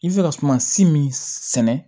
I bɛ se ka sumasi min sɛnɛ